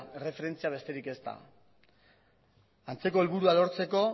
erreferentzia besterik ez da antzeko helburua lortzeko